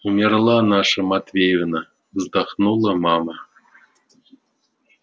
умерла наша матвеевна вздохнула мама